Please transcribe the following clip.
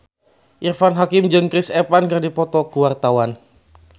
Irfan Hakim jeung Chris Evans keur dipoto ku wartawan